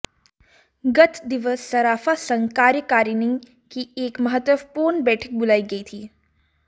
गत दिवस सराफा संघ कार्यकारिणी की एक महत्वपूर्ण बैठक बुलाई गई थी